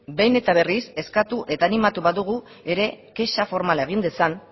behin eta berriz eskatu eta animatu badugu ere kexa formala egin dezan